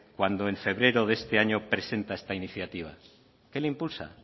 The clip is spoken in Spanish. cuando en febrero de este año presenta esta iniciativa qué le impulsa